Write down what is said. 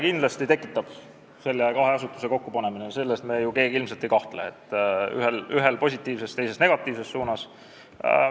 Kahe asutuse kokkupanemine kindlasti emotsioone tekitab, selles me ju keegi ei kahtle, ühel poolel positiivses, teisel negatiivses suunas.